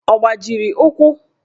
Ọ gbajiri ụkwụ?